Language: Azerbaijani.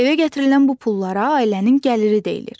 Evə gətirilən bu pullara ailənin gəliri deyilir.